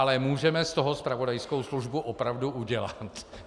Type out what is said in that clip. Ale můžeme z toho zpravodajskou službu opravdu udělat.